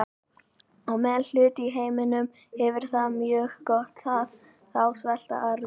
Á meðan hluti af heiminum hefur það mjög gott þá svelta aðrir.